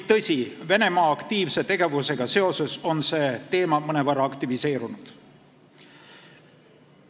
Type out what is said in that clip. Tõsi, Venemaa aktiivse tegevusega seoses on see teema mõnevõrra aktiveerunud.